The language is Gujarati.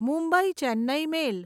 મુંબઈ ચેન્નઈ મેલ